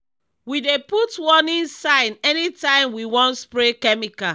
we dey put warning sign anytime we wan spray chemical.